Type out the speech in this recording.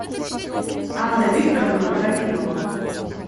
анна викторовна трофимова